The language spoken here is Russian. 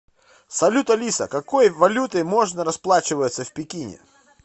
салют алиса какой валютой можно расплачиваться в пекине